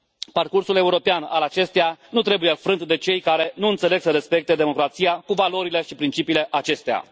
Parcursul european al acesteia nu trebuie frânt de cei care nu înțeleg să respecte democrația, cu valorile și principiile acesteia.